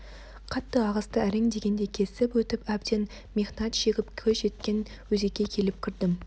қатты ағысты әрең дегенде кесіп өтіп әбден мехнат шегіп көз жеткен өзекке келіп кірдім